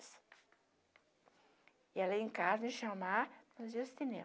Ia lá em casa me chamar para nós ir ao cinema.